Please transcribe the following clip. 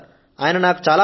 నాకు ప్రేరణనిచ్చింది ఆయనే